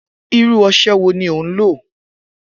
Iru ose wo ni o n lo?